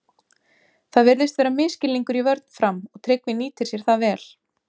Það virðist vera misskilningur í vörn Fram og Tryggvi nýtir sér það vel!